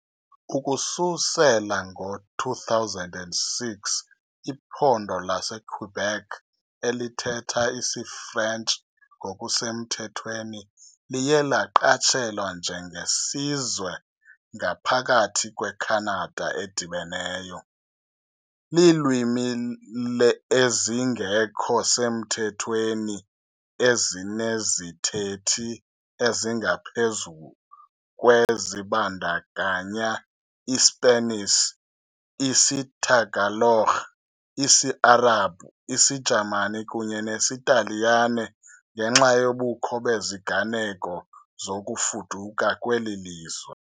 Ukususela ngo-2006, iphondo laseQuebec, elithetha isiFrentshi ngokusemthethweni, liye laqatshelwa njenge "sizwe ngaphakathi kweKhanada edibeneyo". Iilwimi ezingekho semthethweni ezinezithethi ezingaphezulu kwe zibandakanya iSpanish, isiTagalog, isiArabhu, isiJamani kunye nesiTaliyane, ngenxa yobukho beziganeko zokufuduka kweli lizwe.